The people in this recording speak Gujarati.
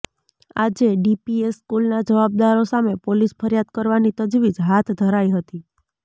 આજે ડીપીએસ સ્કૂલના જવાબદારો સામે પોલીસ ફરિયાદ કરવાની તજવીજ હાથ ધરાઇ હતી